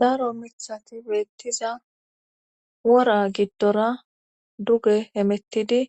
Daro mithati beettiza wora giddora duge hemettidi